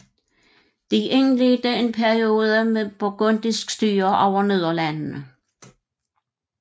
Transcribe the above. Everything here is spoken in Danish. De indledte en periode med burgundisk styre over Nederlandene